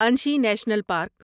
Anshi national park